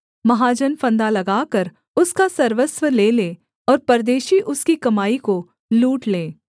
महाजन फंदा लगाकर उसका सर्वस्व ले ले और परदेशी उसकी कमाई को लूट लें